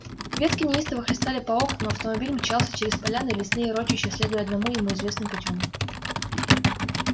ветки неистово хлестали по окнам автомобиль мчался через поляны и лесные урочища следуя одному ему известным путём